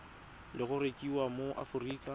le go rekisiwa mo aforika